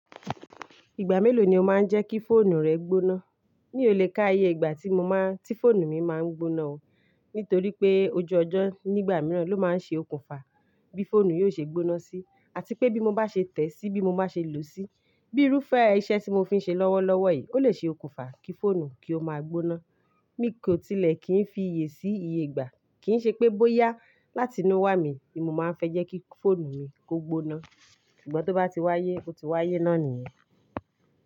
Ìgbà mélòó ni o máa ń jẹ́ kí fóònù rẹ gbóná? Mi ò lè ka iye ìgbà tí fóònù mi máa ń gbóná o. Nítorí pé ojú ọjọ́ nígbà mìíràn ló máa ń ṣe okùnfà bí fóònù yóò ṣe gbóná sí. Àti pé bí mo bá ṣe tẹ̀ síi bí mo bá ṣe lò ó sí. Bí irúfẹ́ iṣẹ́ tí mo fi ń ṣe lọ́wọ́lọ́wọ́ yìí, ó lè ṣe okùnfà kí fóònù kí ó máa gbóná. Mi kò tilẹ̀ kì í fi ìyè sí iye ìgbà. Kì í ṣe pé bóyá láti inú wá mi ni mo máa ń fẹ́ jẹ́ kí fóònù mi kó gbóná. Ṣùgbọ́n tó bá ti wáyé, ó ti wáyé náà nìyẹn.